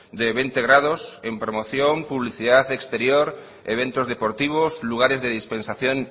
de veinte grados en promoción publicidad exterior eventos deportivos lugares de dispensación